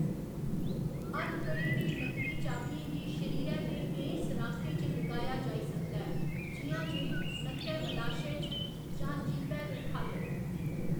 हथकड़ी दी नकली चाबियें गी शरीरै दे केईं सराखें च लुकाया जाई सकदा ऐ, जि'यां जे नक्कै मलाशय च जां जीह्‌‌बै दे ख'ल्ल।